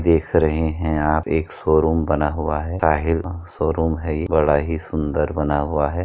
देख रहें हैं आप एक शोरूम बना हुआ है। शाहिल शोरूम है इ बड़ा ही सुन्दर बना हुआ है।